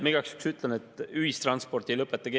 Ma igaks juhuks ütlen, et ühistransporti ei lõpeta keegi.